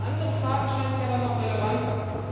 Die andere Frage scheint mir aber noch relevanter.